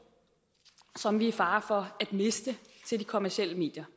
som vi er i fare for at miste til de kommercielle medier